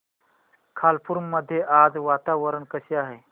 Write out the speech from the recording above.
खालापूर मध्ये आज वातावरण कसे आहे